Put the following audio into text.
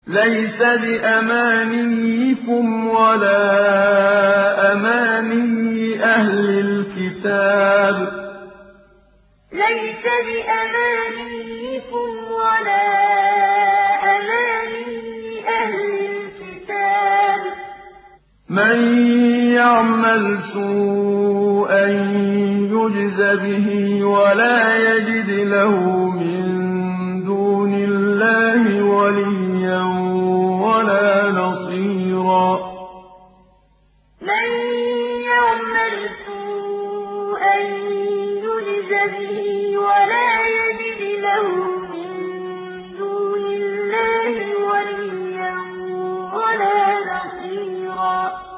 لَّيْسَ بِأَمَانِيِّكُمْ وَلَا أَمَانِيِّ أَهْلِ الْكِتَابِ ۗ مَن يَعْمَلْ سُوءًا يُجْزَ بِهِ وَلَا يَجِدْ لَهُ مِن دُونِ اللَّهِ وَلِيًّا وَلَا نَصِيرًا لَّيْسَ بِأَمَانِيِّكُمْ وَلَا أَمَانِيِّ أَهْلِ الْكِتَابِ ۗ مَن يَعْمَلْ سُوءًا يُجْزَ بِهِ وَلَا يَجِدْ لَهُ مِن دُونِ اللَّهِ وَلِيًّا وَلَا نَصِيرًا